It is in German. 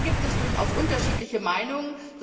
Da gibt es durchaus unterschiedliche Meinungen.